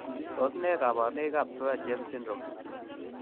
Tos nee koborunoikab Swyer James syndrome?